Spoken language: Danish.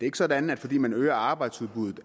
ikke sådan at fordi man øger arbejdsudbuddet